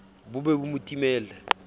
bo be bo mo timelle